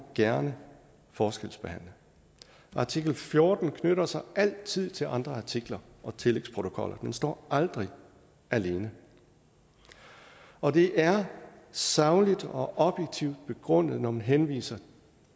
gerne forskelsbehandle artikel fjorten knytter sig altid til andre artikler og tillægsprotokoller den står aldrig alene og det er sagligt og objektivt begrundet når man henviser